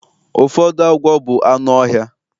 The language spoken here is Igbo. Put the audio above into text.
Ụfọdụ agwọ bụ anụ ọhịa